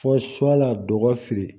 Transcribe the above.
Fɔ su a la dɔgɔ fili